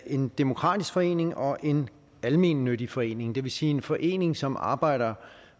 en demokratisk forening og en almennyttig forening det vil sige en forening som arbejder